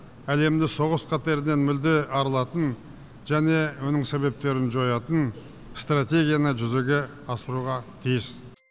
әлемді соғыс қатерінен мүлде арылатын және оның себептерін жоятын стратегияны жүзеге асыруға тиіс